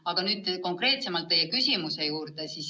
Aga nüüd konkreetsemalt teie küsimuse juurde.